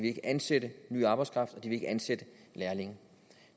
ikke ansætte ny arbejdskraft og de vil ikke ansætte lærlinge